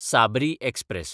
Sabri express